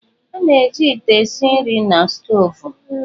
A na-eji ite esi nri na stoovu.